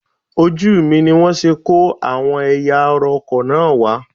Ojú mi ni wọ́n ṣe kó àwọn ẹ̀yà ara ọkọ̀ náà wá